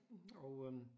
Og øh